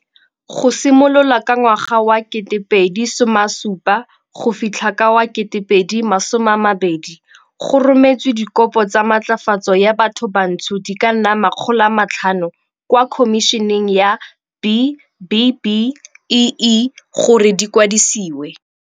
Go simolola ka ngwaga wa 2070 go fitlha ka wa 2020, go rometswe dikopo tsa matlafatso ya bathobantsho di ka nna 500 kwa Khomišeneng ya B-BBEE gore di kwadisiwe.